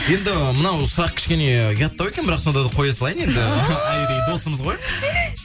енді мынау сұрақ кішкене ұяттау екен бірақ сонда да қоя салайын енді айри досымыз ғой